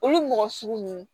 Olu mɔgɔ sugu ninnu